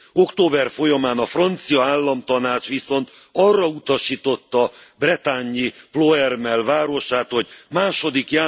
Október folyamán a francia államtanács viszont arra utasította a bretagne i Ploermel városát, hogy II.